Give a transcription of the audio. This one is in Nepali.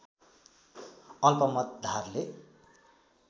अल्पमत धारले